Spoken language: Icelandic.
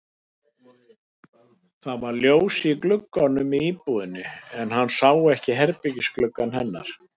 Það var ljós í gluggunum í íbúðinni en hann sá ekki herbergisgluggann hennar.